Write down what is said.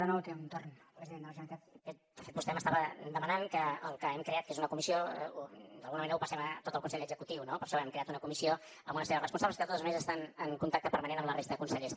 de fet vostè m’estava demanant que el que hem creat que és una comissió d’alguna manera ho passem a tot el consell executiu no per això hem creat una comissió amb una sèrie de responsables que de totes maneres estan en contacte permanent amb la resta de consellers